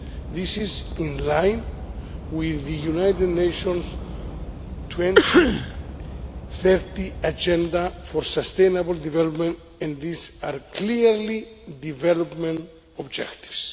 This is in line with the United Nations' 2030 Agenda for Sustainable Development and these are clearly development objectives.